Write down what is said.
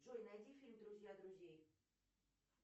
джой найди фильм друзья друзей